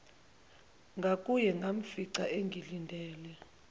ngakuye ngamfica engilindele